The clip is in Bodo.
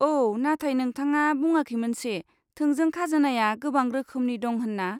औ, नाथाय नोंथाङा बुङाखैमोनसे थोंजों खाजोनाया गोबां रोखोमनि दं होन्ना?